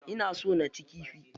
Ina son naci kifi.